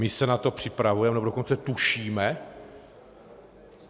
My se na to připravujeme, nebo dokonce tušíme?